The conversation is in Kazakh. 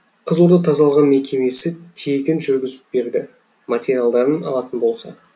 қызылорда тазалығы мекемесі тегін жүргізіп берді материалдарын алатын болса